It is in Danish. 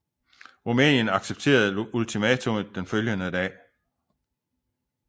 Rumænien accepterede ultimatummet den følgende dag